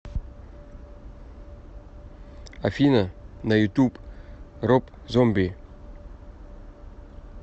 афина на ютуб роб зомби